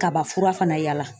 Kabafura fana yaala.